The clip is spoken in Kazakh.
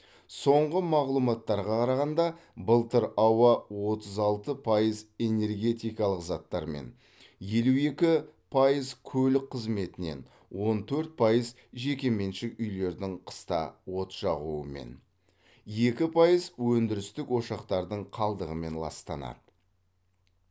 соңғы мағлұматтарға қарағанда былтыр ауа отыз алты пайыз энергетикалық заттармен елу екі пайыз көлік қызметінен он төрт пайыз жекеменшік үйлердің қыста от жағуымен екі пайыз өндірістік ошақтардың қалдығымен ластанады